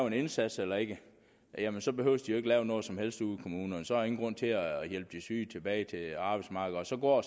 en indsats eller ikke jamen så behøvede de jo ikke lave noget som helst ud i kommunerne så er der ingen grund til at hjælpe de syge tilbage til arbejdsmarkedet og så går